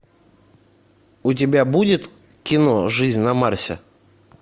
у тебя будет кино жизнь на марсе